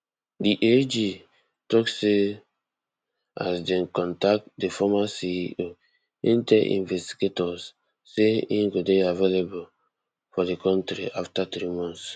di ag tok say as dem contact di former ceo im tell investigators say im go dey available for di kontri afta three months